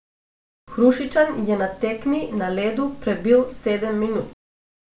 Hrušičan je na tekmi na ledu prebil sedem minut.